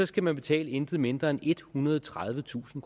skal man betale intet mindre end ethundrede og tredivetusind